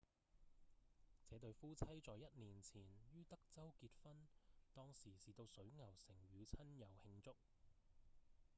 這對夫妻在一年前於德州結婚當時是到水牛城與親友慶祝